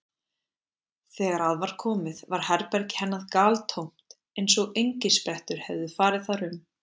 Þegar að var komið var herbergi hennar galtómt eins og engisprettur hefðu farið þar um.